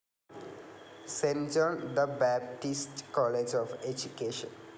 cent John the Baptist College of education